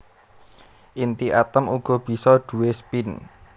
Inti atom uga bisa duwé spin